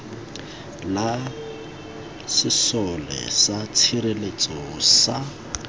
la sesole sa tshireletso sa